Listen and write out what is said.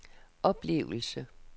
oplevelse